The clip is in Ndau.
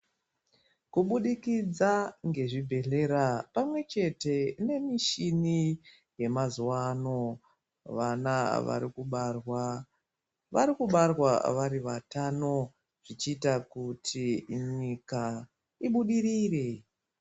Kubudikidza ngezvibhehlera pamwe chete nemichini yemazuva ano vana vari kubarwa vari kubarwa vari vatano zvichiita kuti nyika ibudirire.